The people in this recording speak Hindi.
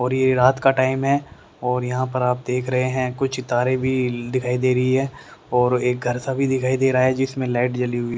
और ये रात का टाइम है और यहां पर आप देख रहे हैं कुछ तारे भी दिखाई दे रही है और एक घर सा भी दिखाई दे रहा है जिसमें लाइट जली हुई--